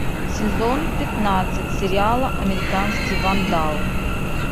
сезон пятнадцать сериала американский вандал